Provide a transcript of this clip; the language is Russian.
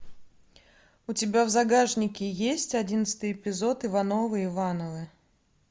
у тебя в загашнике есть одиннадцатый эпизод ивановы ивановы